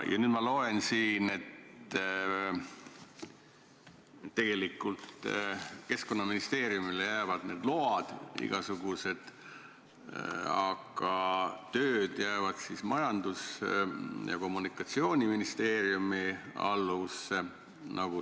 Ja nüüd ma loen siit, et Keskkonnaministeeriumi kompetentsi jäävad igasugused load, aga tööd jäävad Majandus- ja Kommunikatsiooniministeeriumi alluvusse.